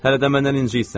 Hələ də məndən incirsən?